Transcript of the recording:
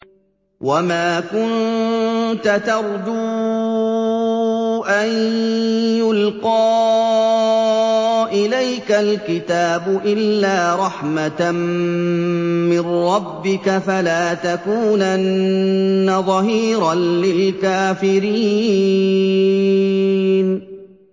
وَمَا كُنتَ تَرْجُو أَن يُلْقَىٰ إِلَيْكَ الْكِتَابُ إِلَّا رَحْمَةً مِّن رَّبِّكَ ۖ فَلَا تَكُونَنَّ ظَهِيرًا لِّلْكَافِرِينَ